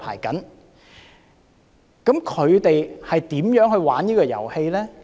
究竟他們如何玩這個遊戲呢？